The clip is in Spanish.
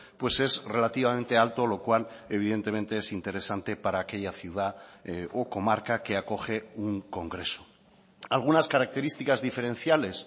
pues es relativamente alto lo cual evidentemente es interesante para aquella ciudad o comarca que acoge un congreso algunas características diferenciales